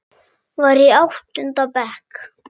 Var í áttunda bekk.